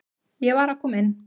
Ég var að koma inn